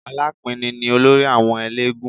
Alápinni ni olórí àwọn eléégún